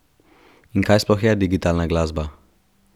In kaj sploh je digitalna glasba?